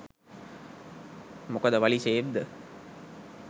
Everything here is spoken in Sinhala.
මොකද වලි ෂේප්ද?